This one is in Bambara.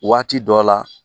Waati dɔ la